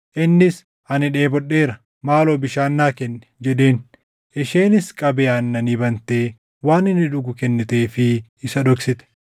Innis, “Ani dheebodheera; maaloo bishaan naa kenni” jedheen. Isheenis qabee aannanii bantee waan inni dhugu kenniteefii isa dhoksite.